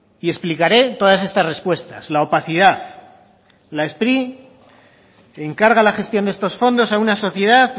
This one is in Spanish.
y explicaré todas estas respuestas la opacidad la spri encarga la gestión de estos fondos a una sociedad